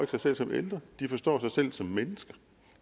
sig selv som ældre de forstår sig selv som mennesker